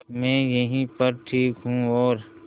मैं यहीं पर ठीक हूँ और